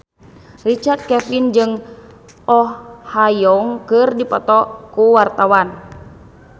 Richard Kevin jeung Oh Ha Young keur dipoto ku wartawan